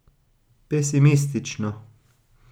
Pesimistično.